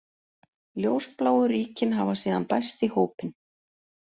Ljósbláu ríkin hafa síðan bæst í hópinn.